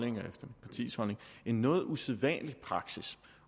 en noget usædvanlig praksis